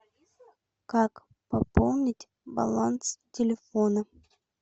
как пополнить баланс телефона